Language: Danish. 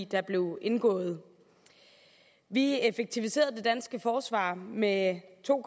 der blev indgået vi effektiviserede det danske forsvar med to